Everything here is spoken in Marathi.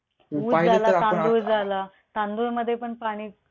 ऊस झाला, तांदूळ झाला. तांदूळ मध्ये पण पाणी